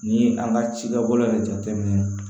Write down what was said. Ni an ka cidabolo yɛrɛ jate minɛ